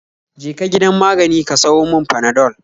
Je ka gidan magani ka sayo mun panadol